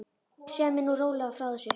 Segðu mér nú rólega frá þessu.